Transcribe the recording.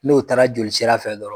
N'o taara joli sira fɛ dɔrɔn